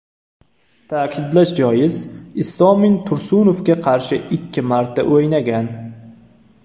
Ta’kidlash joiz, Istomin Tursunovga qarshi ikki marta o‘ynagan.